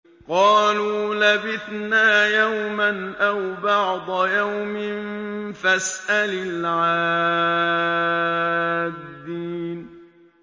قَالُوا لَبِثْنَا يَوْمًا أَوْ بَعْضَ يَوْمٍ فَاسْأَلِ الْعَادِّينَ